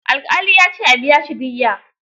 Alƙali ya ce a biya shi diyya